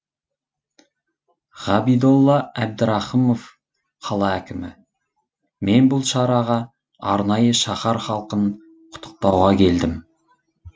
ғабидолла әбдірахымов қала әкімі мен бұл шараға арнайы шаһар халқын құттықтауға келдім